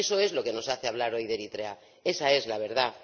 Eso es lo que nos hace hablar hoy de Eritrea, esa es la verdad.